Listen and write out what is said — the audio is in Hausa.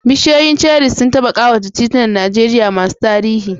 Bishiyoyin cherries sun taɓa ƙawata titunan Najeriya masu tarihi.